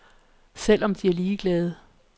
Selv er de lige glade.